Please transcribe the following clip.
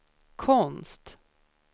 konst